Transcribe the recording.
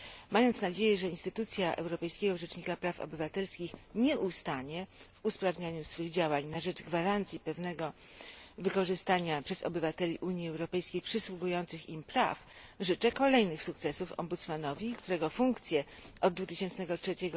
Mając nadzieję, że instytucja Europejskiego Rzecznika Praw Obywatelskich nie ustanie w usprawnianiu swych działań na rzecz gwarancji pewnego wykorzystania przez obywateli Unii Europejskiej przysługujących im praw, życzę kolejnych sukcesów Ombudsmanowi, którego funkcje od 2003